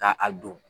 Ka a don